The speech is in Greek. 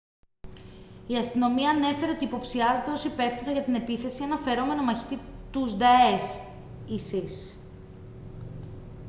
η αστυνομία ανέφερε ότι υποψιάζεται ως υπεύθυνο για την επίθεση έναν φερόμενο μαχητή τους νταές isis